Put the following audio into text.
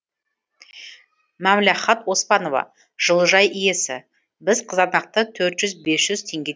мәмләхат оспанова жылыжай иесі біз қызанақты төрт жүз бес жүз теңге